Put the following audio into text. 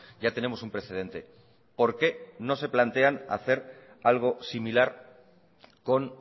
ya tenemos un precedente porque no se plantean hacer algo similar con